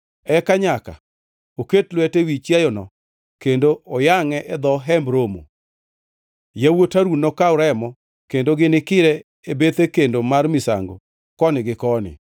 Eka nyaka oket lwete ewi chiayono kendo oyangʼe e dho Hemb Romo. Yawuot Harun nokaw remo, kendo ginikire e bethe kendo mar misango koni gi koni.